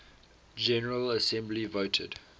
general assembly voted